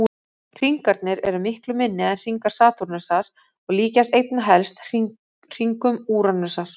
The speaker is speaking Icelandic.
Hringarnir eru miklu minni en hringar Satúrnusar og líkjast einna helst hringum Úranusar.